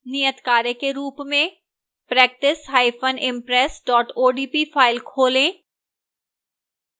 नियतकार्य के रूप में practiceimpress odp फाइल खोलें